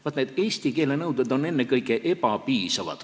Vaat need eesti keele nõuded on ennekõike ebapiisavad.